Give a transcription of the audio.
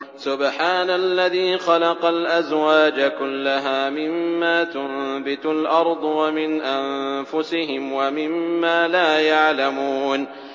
سُبْحَانَ الَّذِي خَلَقَ الْأَزْوَاجَ كُلَّهَا مِمَّا تُنبِتُ الْأَرْضُ وَمِنْ أَنفُسِهِمْ وَمِمَّا لَا يَعْلَمُونَ